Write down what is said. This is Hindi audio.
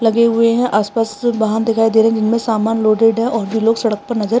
लगे हुए हैं आस-पास वाहन दिखाई देरें जिनमे समान लोडेड है और वे लोग सड़क पे नजर --